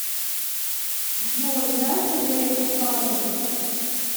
джой знаешь андрея курпатова